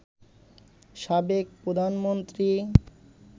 সাবেক প্রধানমন্ত্রী